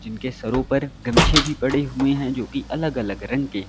इनके सरों पर गमछे भी पड़े हुए हैं जो की अलग अलग रंग के हैं।